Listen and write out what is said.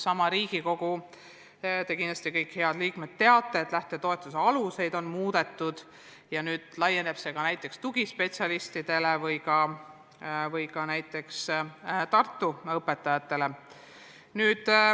Kindlasti te kõik, head Riigikogu liikmed, teate, et lähtetoetuse aluseid on muudetud ja nüüd laieneb see ka tugispetsialistidele ja näiteks Tartu õpetajatele.